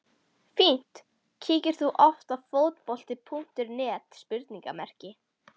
fínt Kíkir þú oft á Fótbolti.net?